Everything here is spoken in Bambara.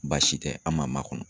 Baasi tɛ, an ma ma kɔnɔ.